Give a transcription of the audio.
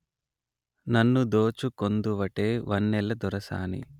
నన్ను దోచుకొందువటే వన్నెల దొరసాని